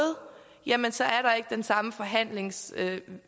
jamen så er der ikke den samme forhandlingsmulighed man